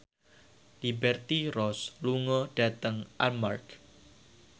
Liberty Ross lunga dhateng Armargh